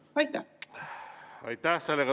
Aitäh!